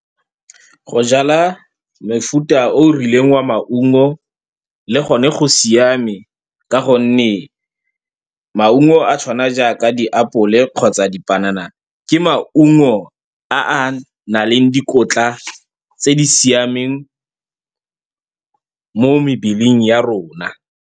Go jala mofuta o o rileng wa maungo le gone go siame, ka gonne maungo a tshwana jaaka diapole kgotsa dipanana, ke maungo a a nang le dikotla tse di siameng mo mebileng ya rona.